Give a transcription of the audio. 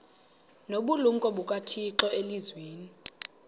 nobulumko bukathixo elizwini